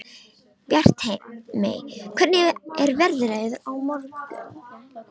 Bjartmey, hvernig er veðrið á morgun?